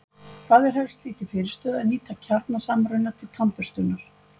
Hvað er helst því til fyrirstöðu að nýta kjarnasamruna til tannburstunar?